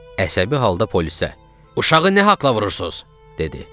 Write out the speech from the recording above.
Əsəbi halda polisə: "Uşağı nə haqla vurursuz?" dedi.